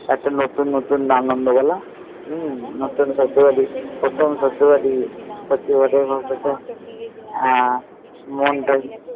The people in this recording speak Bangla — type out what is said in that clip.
একটা নতুন নতুন আনন্দ বলো প্রথম প্রথম সত্যি বলো হম